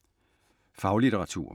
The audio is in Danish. Faglitteratur